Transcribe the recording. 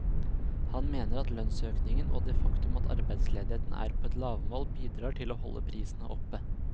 Han mener at lønnsøkningen og det faktum at arbeidsledigheten er på et lavmål bidrar til å holde prisene oppe.